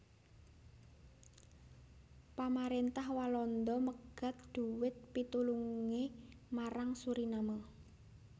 Pamaréntah Walanda megat dhuwit pitulungé marang Suriname